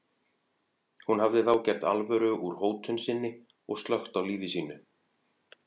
Hún hafði þá gert alvöru úr hótun sinni og slökkt á lífi sínu.